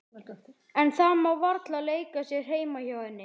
En það má varla leika sér heima hjá henni.